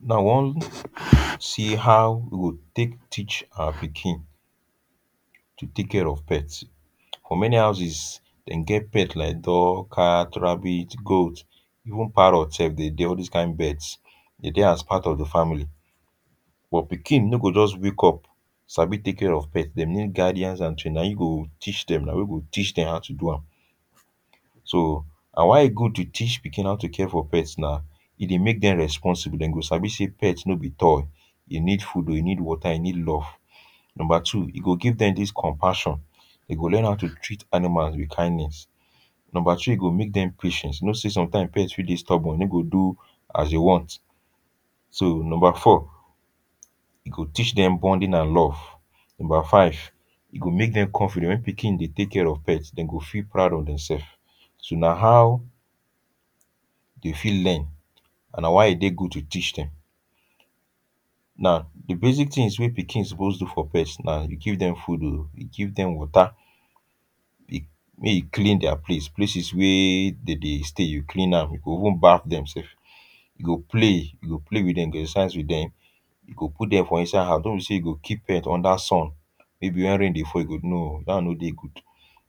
Now, we wan see how we go take teach our pikin to take care of pets. For many houses, dem get pet like dog, cat, rabbit, goat, even parrot sef dey dey, all these kain birds. Dem dey as part the family but pikin no go just wake up sabi take care of pet. Dem need guidance and training. Na you go teach dem, na you go teach dem how to do am. So na why e good to teach pikin how to care for pet, na e dey make dem responsible. Dem go sabi say pet no be toy, e need food o, e need water, e need love. Number two, e go give dem dis compassion, e go learn how to treat animal with kindness. Number three, e go make dem patient. You know say sometimes, pet fit dey stubborn. E no go do as you want. So number four, e go teach dem bonding and love. Number five, e go make dem confident. When pikin dey take care of pet, dem go feel proud of demself. So na how dem fit learn and na why e de good to teach dem. Now di basic things wey pikin suppose do for pet na to give dem food o, you give dem water, dey make you clean their place; places wey dem dey stay, you clean am. You go even bath dem sef. You go play, you go play with dem sef, you go exercise with dem, you go put dem for inside house. No be say you go keep pet under sun, maybe when rain fall, no, dat one no de good.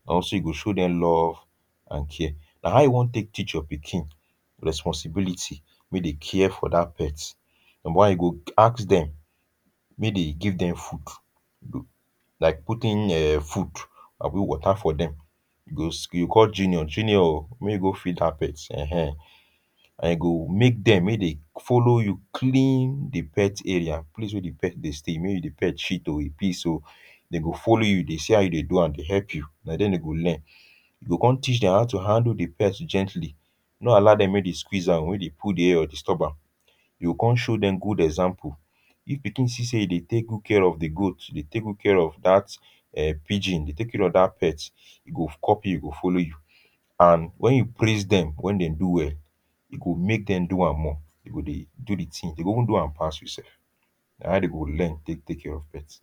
Also, you go show dem love and care. Now, how you wan take teach your pikin responsibility way de care for dat pet? Number one, you go ask dem make dem give dem food, like putting um food abi water for dem. You go, you call Junior, “Junior o, make e go feed dat pet.” Eh eh. And you go make dem, make dem follow you, including the pet area, place way di pet dey stay di pet shit o, piss o, dem go follow you dey see as you dey do am, dey help you. Na then dem go learn. You go come teach dem how to handle di pet gently. No allow dem make dem squeeze am o, make dem pull di head or di stomach. You go come show dem good example. If pikin see say you dey take good care of di goat, dey take good care of dat um pigeon, dey take good care of dat pet, e go copy you, e go follow you. And when you praise dem when dem do well, e go make dem do am more. Dem go dey do di tin; dem go even do am pass you sef. Na how dem go learn take take care of pet.